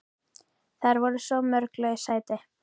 Það voru svo mörg laus sæti.